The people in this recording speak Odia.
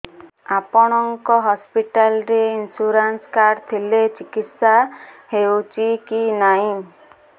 ଆପଣଙ୍କ ହସ୍ପିଟାଲ ରେ ଇନ୍ସୁରାନ୍ସ କାର୍ଡ ଥିଲେ ଚିକିତ୍ସା ହେଉଛି କି ନାଇଁ